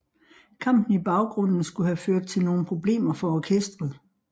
Kampen i baggrunden skulle have ført til nogle problemer for orkesteret